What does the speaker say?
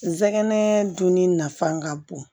Sɛgɛnɛ dunni nafan ka bon